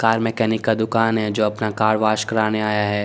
Car mechanic का दूकान है जो अपना कार वोस कराने आया है।